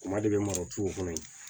Kuma de bɛ mara cogo kɔnɔ yen